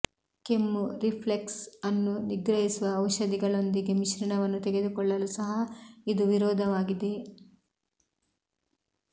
ಕೆಮ್ಮು ರಿಫ್ಲೆಕ್ಸ್ ಅನ್ನು ನಿಗ್ರಹಿಸುವ ಔಷಧಿಗಳೊಂದಿಗೆ ಮಿಶ್ರಣವನ್ನು ತೆಗೆದುಕೊಳ್ಳಲು ಸಹ ಇದು ವಿರೋಧವಾಗಿದೆ